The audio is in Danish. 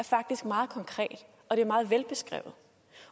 faktisk meget konkret og det er meget velbeskrevet